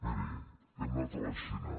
miri hem anat a la xina